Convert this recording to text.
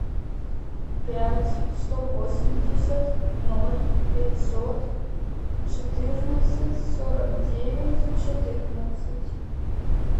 пять сто восемьдесят ноль пятьсот четырнадцать сорок девять четырнадцать